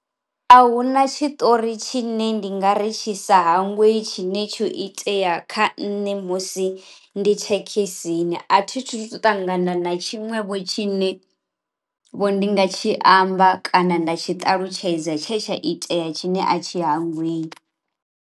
A huna tshi ṱori tshi ne ndi nga ri tshi sa hangweyi tshine tsho itea kha nṋe musi ndi thekhisini a thi thu ṱangana na tshiṅwevho tshi ne vho ndi nga tshi amba kana nda tshi ṱalutshedza tshe tsha itea tshine a tshi hangweyi.